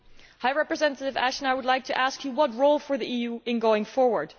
High Representative Ashton, I would like to ask you what role for the EU in going forward?